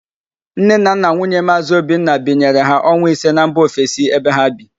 Nne na nna nwunye Maazị Obinna binyere ha ọnwa ise na mba ofesi ebe ha bi